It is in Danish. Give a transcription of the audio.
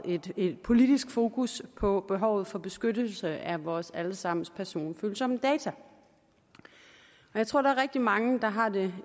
politisk fokus på behovet for beskyttelse af vores alle sammens personfølsomme data jeg tror der er rigtig mange der har det